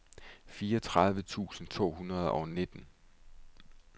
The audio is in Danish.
fireogtredive tusind to hundrede og nitten